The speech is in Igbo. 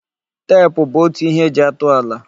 Tep bụ otu ihe eji atụ ala.